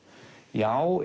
já